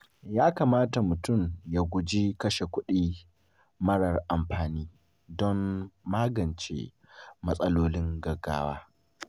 Ya kamata mutum ya guji kashe kuɗi marar amfani don magance matsalolin gaggawa.